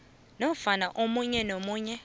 nofana omunye nomunye